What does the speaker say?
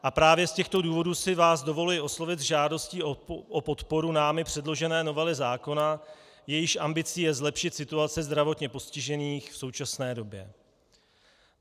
A právě z těchto důvodů si vás dovoluji oslovit s žádostí o podporu námi předložené novely zákona, jejíž ambicí je zlepšit situace zdravotně postižených v současné době.